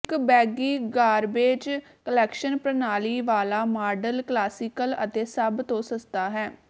ਇੱਕ ਬੈਗੀ garbage collection ਪ੍ਰਣਾਲੀ ਵਾਲਾ ਮਾਡਲ ਕਲਾਸੀਕਲ ਅਤੇ ਸਭ ਤੋਂ ਸਸਤਾ ਹੈ